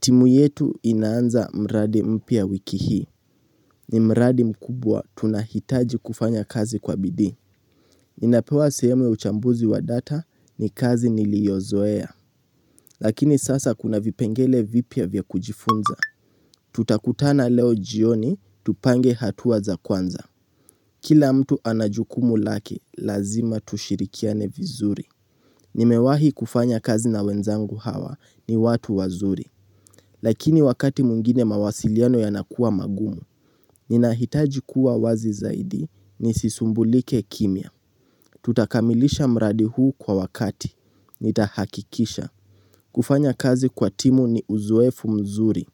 Timu yetu inaanza mradi mpya wiki hii. Ni mradi mkubwa tunahitaji kufanya kazi kwa bidii. Ninapewa sehemu ya uchambuzi wa data ni kazi niliozoea. Lakini sasa kuna vipengele vipya vya kujifunza. Tutakutana leo jioni, tupange hatua za kwanza. Kila mtu ana jukumu lake, lazima tushirikiane vizuri. Nimewahi kufanya kazi na wenzangu hawa ni watu wazuri. Lakini wakati mwingine mawasiliano yanakua magumu, ninahitaji kuwa wazi zaidi, nisisumbulike kimya. Tutakamilisha mradi huu kwa wakati, nitahakikisha. Kufanya kazi kwa timu ni uzoefu mzuri,